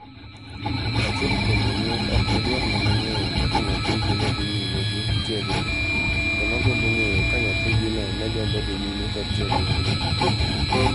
Achiel kuom jonyuol ok ne dwar mana ng'eyo kaka nyathigi ne dhi nyima gi tiegruok to nogombo ng'eyo ka nyathigino ne gombo dhi nyime kod tiegruogno.